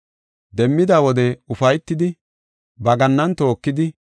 Demmida wode ufaytidi ba gannan tookidi,